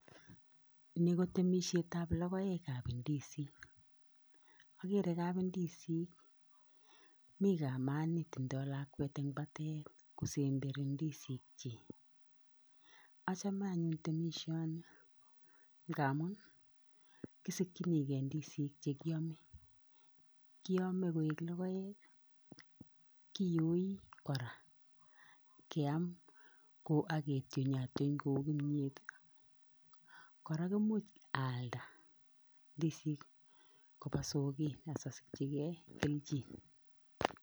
Ni ko temisietab logoekab ndizik akere kab ndizik mi kamani tindo lakwet en batet kosemberi ndizikyik, achomen anyun temisioni ngamu kisikyinike ndizik chekyome, kiome koik logoek kiyoi kora, keam ko aketyonatyon kou kimiet, kora komuch aalnda ndizik kopa soket asosikyike kelchin.